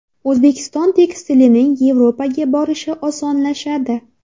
O‘zbekiston tekstilining Yevropaga borishi osonlashadi.